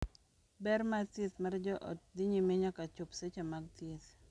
Ber mar thieth mar joot dhi nyime nyaka chop seche mag thieth,